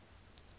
ha ho ne ho ena